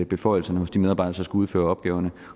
beføjelserne hos de medarbejdere udføre opgaverne